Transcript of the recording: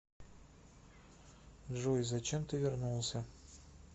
джой зачем ты вернулся